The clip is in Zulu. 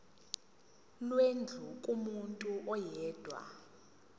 lwendlu kumuntu oyedwa